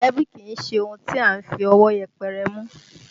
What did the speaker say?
Mọ̀lẹ́bí kìí ṣe ohun tí à ń fi ọwọ́ yẹpẹrẹ mú